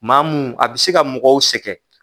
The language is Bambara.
Maa mun a bɛ se ka mɔgɔw sɛgɛn.